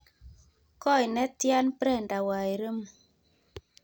Koi netian Brenda Wairimu